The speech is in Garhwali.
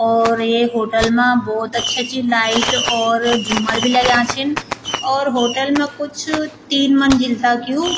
और एक होटल मा भोत अच्छा-अच्छी लाइट और झूमर भी लग्यां छिन और होटल मा कुछ तीन मंजिल तक यु --